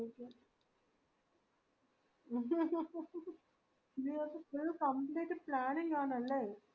ഇതിനകത്തു full complete planning ആണല്ലേ